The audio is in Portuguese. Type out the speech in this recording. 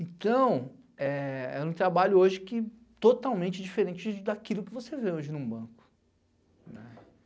Então, era um trabalho hoje que totalmente diferente daquilo que você vê hoje num banco.